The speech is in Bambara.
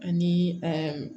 Ani